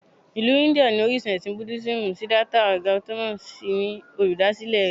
Ìlú India ni orísun ẹ̀sìn Búdísìmù Siddhartha Gautama sì ni olùdásílẹ̀ rẹ̀